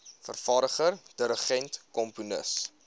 vervaardiger dirigent komponis